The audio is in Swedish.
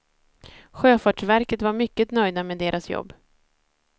Sjöfartsverket var mycket nöjda med deras jobb.